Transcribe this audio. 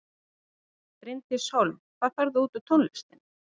Bryndís Hólm: Hvað færðu út úr tónlistinni?